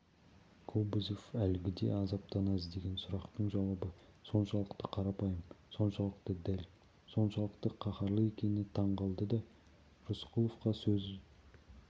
кобозев әлгіде азаптана іздеген сұрақтың жауабы соншалықты қарапайым соншалықты дәл соншалықты қаһарлы екеніне таң қалды да рысқұловқа сөз